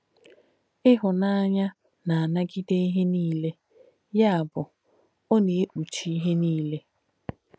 Ị̀hùnànyà “nà-ànàgídē íhe nílē,” yà bù “ọ̀ nà-èkpùchí íhe nílē.”